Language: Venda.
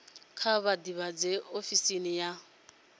kha vha ḓivhadze ofisi ya